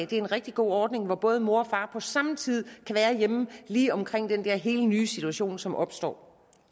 det er en rigtig god ordning som gør at både mor og far på samme tid kan være hjemme lige omkring den helt nye situation som opstår